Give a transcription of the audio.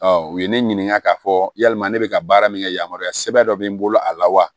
u ye ne ɲininka k'a fɔ yalima ne bɛ ka baara min kɛ yamaruya sɛbɛn dɔ bɛ n bolo a la wa